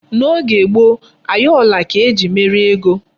N'oge gboo, ayọla ka eji mere ego.